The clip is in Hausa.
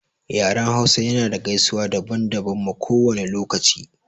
Yaren hausa ya na da gaisuwa daban daban ma kowane lokaci